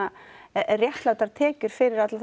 réttlátar tekjur fyrir alla þá